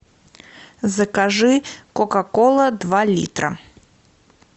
закажи кока кола два литра